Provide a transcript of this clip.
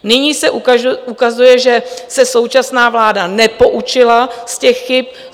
Nyní se ukazuje, že se současná vláda nepoučila z těch chyb.